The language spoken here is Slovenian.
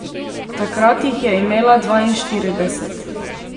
Takrat jih je imela dvainštirideset.